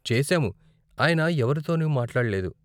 చేసాము, ఆయన ఎవరితోనూ మాట్లాడ్లేదు.